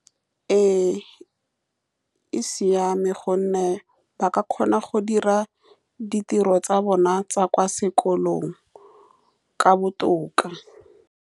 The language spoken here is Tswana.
Ee, e siame, ka gonne ba ka kgona go dira ditiro tsa bona tsa kwa sekolong, ka botoka.